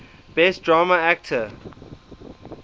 best drama actor